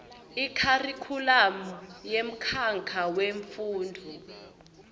ikharikhulamu yemkhakha wemfundvo